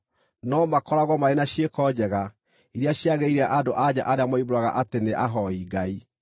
no makoragwo marĩ na ciĩko njega, iria ciagĩrĩire andũ-a-nja arĩa moimbũraga atĩ nĩ ahooi Ngai.